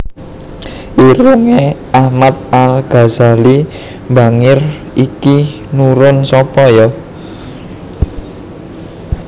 Irunge Ahmad Al Ghazali mbangir iki nurun sopo yo